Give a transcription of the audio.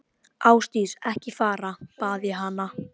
Ásdís, ekki fara, bað ég hana.